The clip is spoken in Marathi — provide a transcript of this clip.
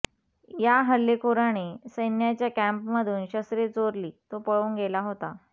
या हल्लेखोराने सैन्याच्या कँपमधून शस्त्रे चोरली तो पळून गेला होता